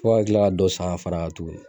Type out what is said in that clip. Fɔ ka kila ka dɔ san ka far'a kan tuguni